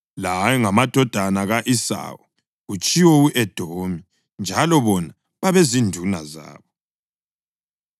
La ayengamadodana ka-Esawu (kutshiwo u-Edomi), njalo bona babezinduna zabo.